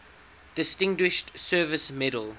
distinguished service medal